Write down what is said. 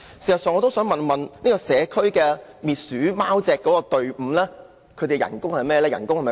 事實上，我想問社區滅鼠貓隻隊伍的薪酬如何？